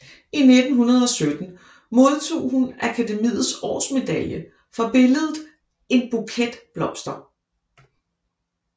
I 1917 modtog hun Akademiets Årsmedalje for billedet En Buket Blomster